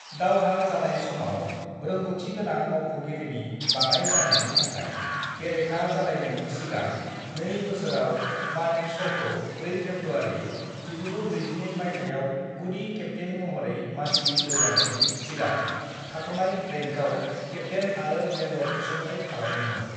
"दावहा जानाय समाव रोंग'थिगोनां मावख'गिरिनि बाङाइ जानायनि थाखाय, बेरेखा जालायनायनि सिगां नै बोसोराव, मानेकश'खौ 4 फेब्रुवारि 1942 माइथायाव गुदि केप्तेइन महरै मासि जौगानायनि सिगां थाथ'नाय रैंकआव केप्तेइन आरो मेजर थिसनथाइ खालामदोंमोन।"